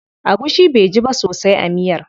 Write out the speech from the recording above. Agushi baiji ba sosai a miyar.